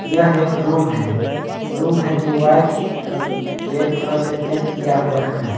यह एक रूम है रूम है जो वाइट और रेड कलर से पेंट किया हुआ है।